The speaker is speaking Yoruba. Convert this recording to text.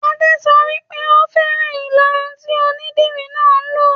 Adé sọ wípé "Ò fẹ́ràn ìlaru tí onídìri náà lo '.